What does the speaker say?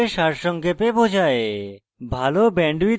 এটি প্রকল্পকে সারসংক্ষেপে বোঝায়